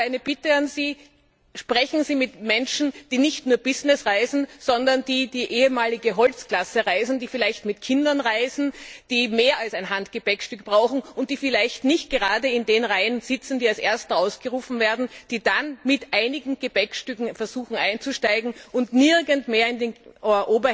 Ich habe eine Bitte an Sie Sprechen Sie nicht nur mit Menschen, die in der Business Class, sondern auch mit solchen, die in der ehemaligen Holzklasse reisen, die vielleicht mit Kindern reisen, die mehr als ein Handgepäckstück brauchen und die vielleicht nicht gerade in den Reihen sitzen, die als erste ausgerufen werden, die dann mit einigen Gepäckstücken versuchen einzusteigen und nirgends mehr in den Handgepäckfächern